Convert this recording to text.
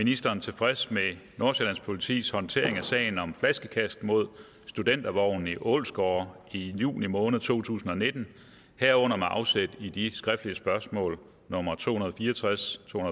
ministeren tilfreds med nordsjællands politis håndtering af sagen om flaskekast mod studentervognen i ålsgårde i juni måned to tusind og nitten herunder med afsæt i de skriftlige spørgsmål nummer to hundrede og fire og tres to